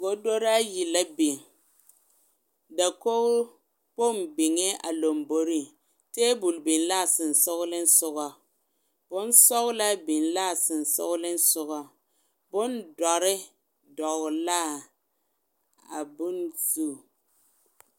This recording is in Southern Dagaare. Godori ayi la biŋ dakogkpoŋ biŋee a lamboriŋ tabol biŋ l,a sensoglesoga bonsɔglaa biŋ l,a sensoglesoga bondɔre dɔgle l,a bone zu.